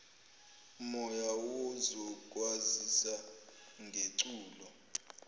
moya sizokwazisa ngeculo